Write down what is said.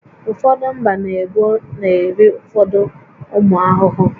Ụfọdụ mba na ebo na-eri ụfọdụ ụmụ ahụhụ